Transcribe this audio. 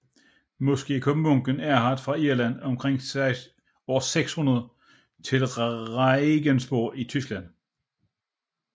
Måske kom munken Erhard fra Irland omkring år 600 til Regensburg i Tyskland